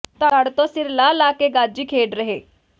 ਧੜ ਤੋਂ ਸਿਰ ਲਾਹ ਲਾਹ ਕੇ ਗਾਜੀ ਖੇਡ ਰਹੇ